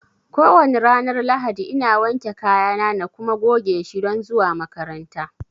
ko wane ranar Lahadi ina wanke kayana na kuma goge shi don zuwa makaranta